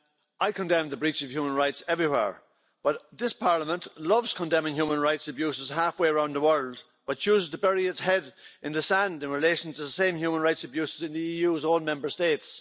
I condemn the breach of human rights everywhere, but this Parliament loves condemning human rights abuses halfway around the world but chooses to bury its head in the sand in relation to the same human rights abuses in the EU's own Member States.